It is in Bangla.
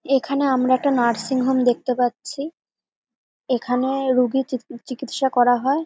এখানে আমরা একটা নার্সিংহোম দেখতে পাচ্ছি এখানে রোগীর চিকি চিকিৎসা করা হয়।